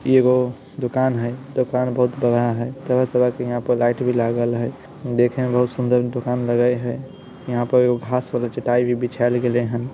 इगो दोकान है दोकान बहुत बड़ा है तरह-तरह के यहां पर लाइट भी लागल है देखने में बहुत सुंदर दुकान लगय है यहां पर घास वाला चटाई भी बिछाईल गलेहन है।